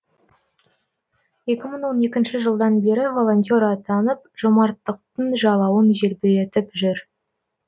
екі мың он екінші жылдан бері волонтер атанып жомарттықтың жалауын желбіретіп жүр